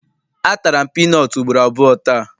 A tara m piinọọtụ ugboro abụọ taa.